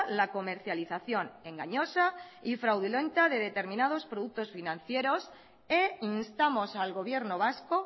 la comercialización engañosa y fraudulenta de determinados productos financieros e instamos al gobierno vasco